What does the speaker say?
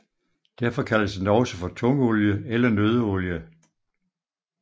Derfor kaldes den også for tungolie eller nøddeolie